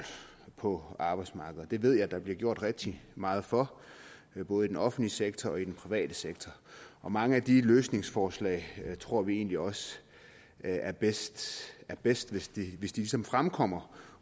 på arbejdsmarkedet det ved jeg at der bliver gjort rigtig meget for både i den offentlige sektor og i den private sektor og mange af de løsningsforslag tror vi egentlig også er bedst er bedst hvis de ligesom fremkommer